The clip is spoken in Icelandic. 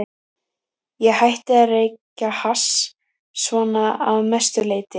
Ég hætti að reykja hass, svona að mestu leyti.